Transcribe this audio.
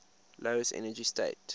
lowest energy state